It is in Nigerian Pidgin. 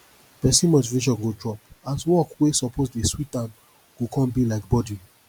pesin motivation go drop as work wey soppose dey sweet am go con bi like burden